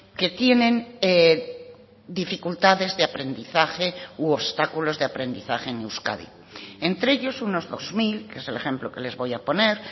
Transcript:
que tienen dificultades de aprendizaje u obstáculos de aprendizaje en euskadi entre ellos unos dos mil que es el ejemplo que les voy a poner